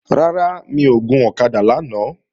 Rárá, mi ò gun ọ̀kadà lánàá